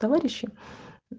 товарищи